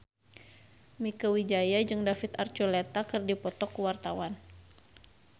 Mieke Wijaya jeung David Archuletta keur dipoto ku wartawan